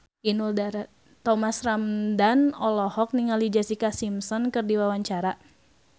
Thomas Ramdhan olohok ningali Jessica Simpson keur diwawancara